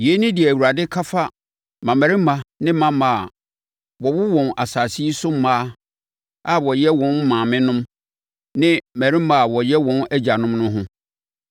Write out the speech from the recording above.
Yei ne deɛ Awurade ka fa mmammarima ne mmammaa a wɔwo wɔn asase yi so mmaa a wɔyɛ wɔn maamenom ne mmarima a wɔyɛ wɔn agyanom no ho: